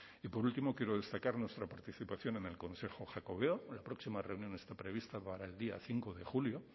y por último quiero destacar nuestra participación en el consejo jacobeo la próxima reunión está prevista para el día cinco de julio